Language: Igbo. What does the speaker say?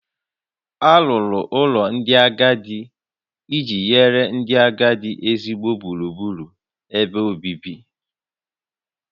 Alụrụ ụlọ ndị agadi iji nye ndị agadi ezigbo gburugburu ebe obibi